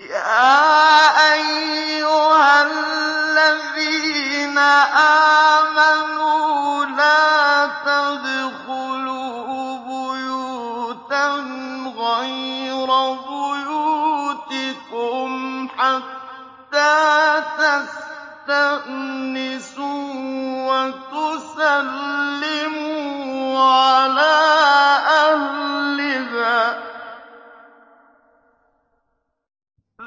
يَا أَيُّهَا الَّذِينَ آمَنُوا لَا تَدْخُلُوا بُيُوتًا غَيْرَ بُيُوتِكُمْ حَتَّىٰ تَسْتَأْنِسُوا وَتُسَلِّمُوا عَلَىٰ أَهْلِهَا ۚ